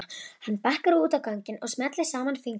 Hann bakkar út á ganginn og smellir saman fingrunum.